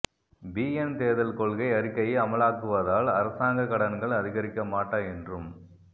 PN தேர்தல் கொள்கை அறிக்கையை அமலாக்குவதால் அரசாங்கக் கடன்கள் அதிகரிக்க மாட்டா என்றும்